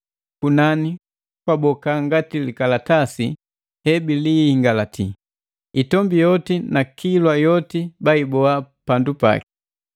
Kunani kwaboka ngati likalatasi he bilihingalati, itombi yoti na kilwa yoti baiboa pandu paki.